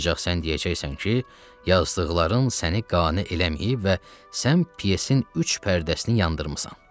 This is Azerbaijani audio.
Ancaq sən deyəcəksən ki, yazdıqların səni qane eləməyib və sən pyesin üç pərdəsini yandırmısan.